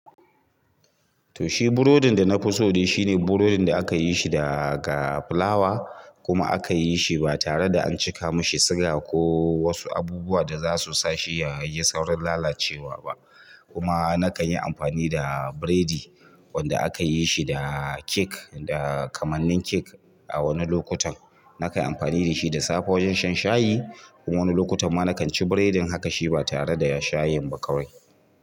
To shi burodin da na fi so ne shine burodin da aka yi shi da fulawa kuma aka yi shi ba tare da an cika mashi suga ko wasu abubuwa da za su sa shi ya yi saurin lalacewa ba. Kuma na kan yi amfani da burodi wanda aka yi shi da kamanin cake a wani lokutan na kan yi amfani da shi da safe wajen shan shayi, wani lokutan ma nakan ci burodi ma hakan ma ba tare da ita shayi ba.